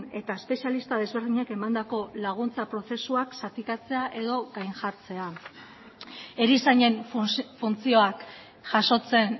eta espezialista desberdinek emandako laguntza prozesuak zatikatzea edo gain jartzea erizainen funtzioak jasotzen